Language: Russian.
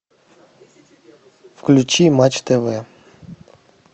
включи матч тв